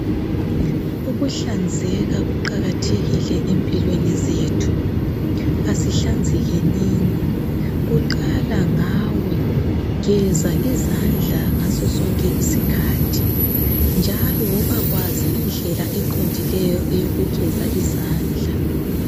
Ukuhlanzeka kuqakathekile empilweni zethu asihlanzekenini kuqala ngawe geza izandla ngaso sonke isikhathi njalo woba kwazi indlela eqondileyo eyokugeza izandla.